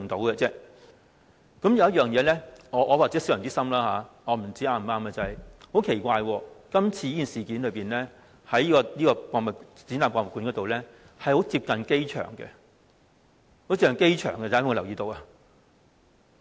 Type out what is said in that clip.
或許我是小人之心，我不知道是否正確，很奇怪，發生今次事件的亞洲國際博覽館非常接近機場，大家有沒有留意？